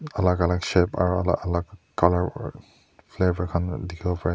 alak alak shape aru alak alak colour aru flavor khan dikhiwopari ase.